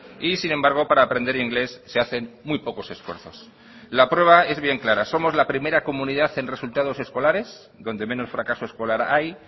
y sin embargo para aprender inglés se hacen muy pocos esfuerzos la prueba es bien clara somos la primera comunidad en resultados escolares donde menos fracaso escolar hay